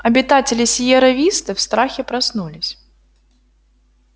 обитатели сиерра висты в страхе проснулись